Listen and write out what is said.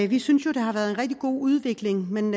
vi synes jo det har været en rigtig god udvikling men